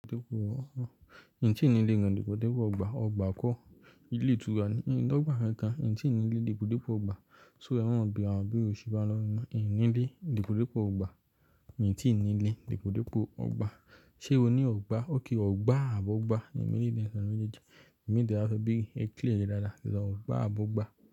Dípò, n tí nilé gan dípòdípò ọgbà, ọgbà kọ́, ilé ìtura ní, n lọ́gbà kankan, n tí nilé, depòdepò ọgbà, so ẹ má máa béèrè àwọn ìbéèrè òsì báyẹn lọ́wọ́ mi mo, n nílé depòdepò ọgbà, mi tí nilé, depòdepò ọgbà. Ṣé o ní ọgbà? Okay, ọgbà àbí ogbà, mi ní nkankan nínú méjèèjì, i mi ti ẹ́ bá fẹ́ bẹ̀rẹ̀, ẹ clear rẹ dáadáa, sọ ọgbà á bó'gbà.